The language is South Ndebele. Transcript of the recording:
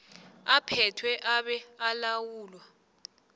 aphethwe abe alawulwa